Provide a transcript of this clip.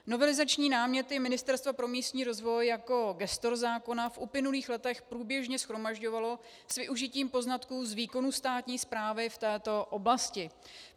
Novelizační náměty Ministerstvo pro místní rozvoj jako gestor zákona v uplynulých letech průběžně shromažďovalo s využitím poznatků z výkonu státní správy v této oblasti.